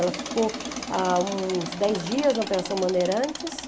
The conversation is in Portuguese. Ela ficou ah uns dez dias na Operação Bandeirantes.